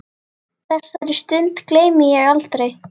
Þessari stund gleymi ég aldrei.